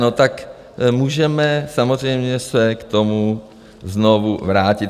No tak můžeme samozřejmě se k tomu znovu vrátit.